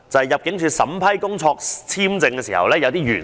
入境處審批工作簽證時須考慮某些原則。